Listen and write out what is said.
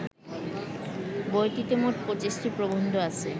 বইটিতে মোট ২৫টি প্রবন্ধ আছে